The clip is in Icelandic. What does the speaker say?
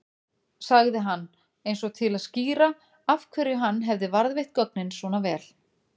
sagði hann eins og til að skýra af hverju hann hefði varðveitt gögnin svona vel.